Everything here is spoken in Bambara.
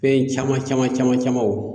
Fɛn caman caman camanw